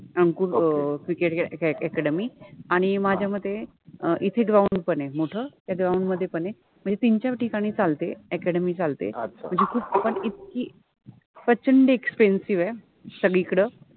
अंकुर अ cricket {cricket} academy {academy} आणि माझ्या मते इथे ग्राउंड {ground} पण आहे मोठ, त्या ग्राउंड {ground} मधे पण आहे, मनजे तिन चार ठिकणी चालते अ‍ॅकॅडमि {academy} चालते मनजे खुप पण इतकि प्रचंड एक्सपेंसिव {expensive} आहे सगळिकड